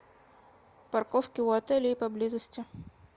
парковки у отеля и поблизости